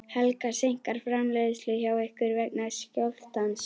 Helga: Seinkar framleiðslu hjá ykkur vegna skjálftans?